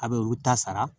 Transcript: A bɛ olu ta sara